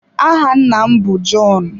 Áhà nna m bụ John.